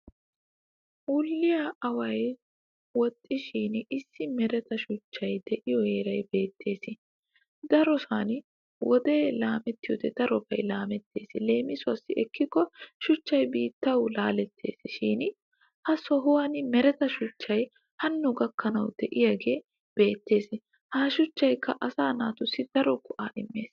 Wulliya awayinawaxxishin issi mereta shuchchay de'iyo heeray beettes. Darosan woodee laamettiyoode darobay laalettes leemisuwassi ekkikko shuchchay biittawu laalettes. Shin ha sohuwan mereta shuchchay Hanno gakkanawukka de'iyaagee beettes ha shuchaykka asaa naatussi daro go'aa immes.